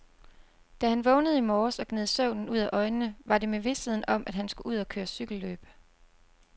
Da han vågnede i morges og gned søvnen ud af øjnene, var det med visheden om, at han skulle ud og køre cykelløb.